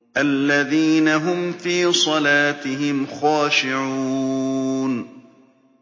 الَّذِينَ هُمْ فِي صَلَاتِهِمْ خَاشِعُونَ